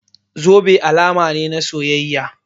Zobe alama ne na soyayya.